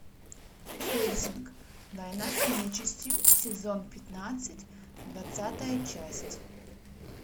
хельсинг война с нечистью сезон пятнадцать двадцатая часть